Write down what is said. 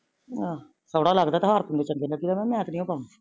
ਆਹ ਸੋਨਾ ਲਗਦਾ ਤਾਂ ਹਾਰ ਨੂ ਚਾਗੇ ਦਾ ਓਨਾ ਨੂ ਇਸਦੀ ਪਾਓ